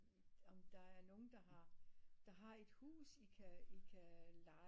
Om der er nogle der har der har et hus i kan i kan leje